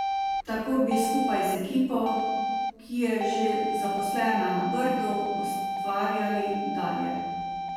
Tako bi skupaj z ekipo, ki je že zaposlena na Brdu, ustvarjali dalje.